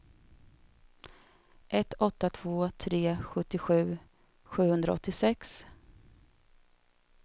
ett åtta två tre sjuttiosju sjuhundraåttiosex